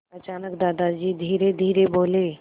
अचानक दादाजी धीरेधीरे बोले